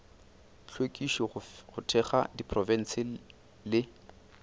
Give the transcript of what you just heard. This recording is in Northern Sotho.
hlwekišo go thekga diprofense le